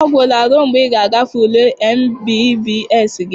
Ọ gwụla ruo mgbe ị ga-agafe ule MBBS gị.